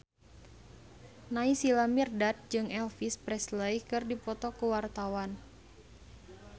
Naysila Mirdad jeung Elvis Presley keur dipoto ku wartawan